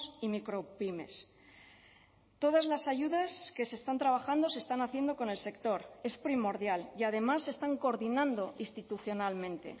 y micropymes todas las ayudas que se están trabajando se están haciendo con el sector es primordial y además se están coordinando institucionalmente